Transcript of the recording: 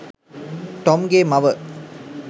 Tom ගේ මව.